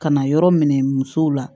Ka na yɔrɔ minɛ musow la